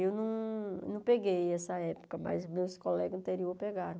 Eu não não peguei essa época, mas meus colegas anteriores pegaram.